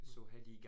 Mh